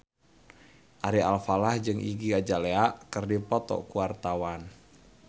Ari Alfalah jeung Iggy Azalea keur dipoto ku wartawan